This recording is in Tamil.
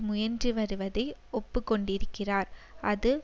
முயன்று வருவதை ஒப்புக்கொண்டிருக்கிறார் அது